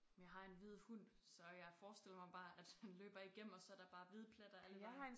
Men jeg har en hvid hund så jeg forestiller mig bare at han løber igennem og så der bare hvide pletter alle vegne